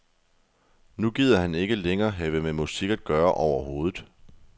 Nu gider han ikke længere have med musik at gøre overhovedet.